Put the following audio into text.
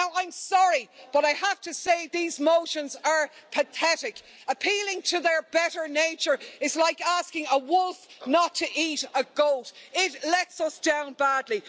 Now I'm sorry, but I have to say these motions are pathetic. Appealing to their better nature is like asking a wolf not to eat a goat. It lets us down badly.